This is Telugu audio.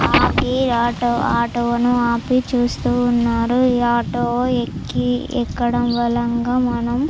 ఆపి ఆటో ఆటో ను ఆపి చుస్తునారు. ఈ ఆటో ఏకి ఎక్కడం వలన మనం --